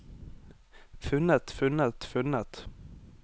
funnet funnet funnet